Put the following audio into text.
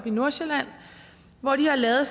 i nordsjælland hvor de har lavet